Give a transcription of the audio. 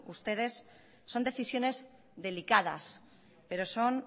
ustedes son decisiones delicadas pero son